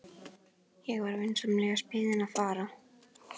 Ég var vinsamlegast beðinn að fara.